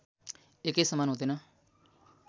एकै समान हुँदैन